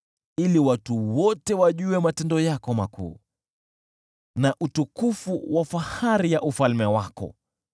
ili watu wote wajue matendo yako makuu na utukufu wa fahari ya ufalme wako.